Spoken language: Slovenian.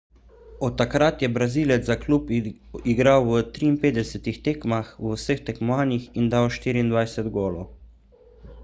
od takrat je brazilec za klub igral v 53 tekmah v vseh tekmovanjih in dal 24 golov